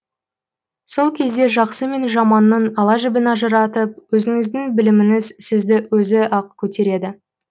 сол кезде жаксы мен жаманның ала жібін ажыратып өзіңіздің біліміңіз сізді өзі ақ көтереді